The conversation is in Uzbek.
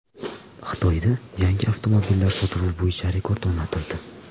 Xitoyda yangi avtomobillar sotuvi bo‘yicha rekord o‘rnatildi.